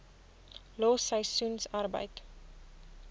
los seisoensarbeid